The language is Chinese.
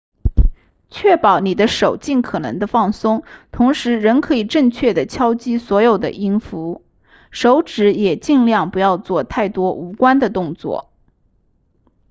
确保你的手尽可能地放松同时仍可以正确地敲击所有的音符手指也尽量不要做太多无关的动作